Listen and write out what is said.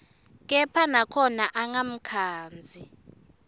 kepha nakhona angamkhandzi